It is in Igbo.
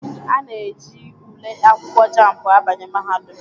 Ana eji ule akwụkwọ Jambụ abanye mahadum.